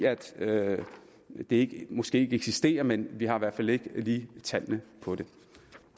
det måske ikke eksisterer men vi har i hvert fald ikke lige tallene på det